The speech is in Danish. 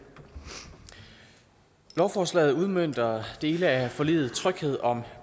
lovforslaget udmønter dele af forliget tryghed om